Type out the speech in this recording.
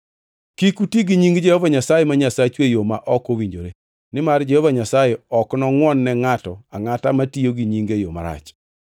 Kik uti gi nying Jehova Nyasaye ma Nyasachu e yo ma ok owinjore, nimar Jehova Nyasaye ok nongʼwon ne ngʼato angʼata matiyo gi nyinge e yo marach.